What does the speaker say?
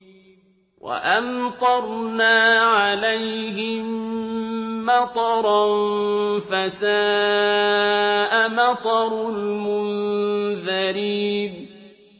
وَأَمْطَرْنَا عَلَيْهِم مَّطَرًا ۖ فَسَاءَ مَطَرُ الْمُنذَرِينَ